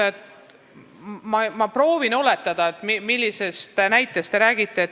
Ma proovin oletada, millisest näitest te räägite.